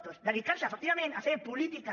doncs dedicarse efectivament a fer polítiques